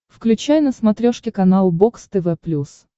включай на смотрешке канал бокс тв плюс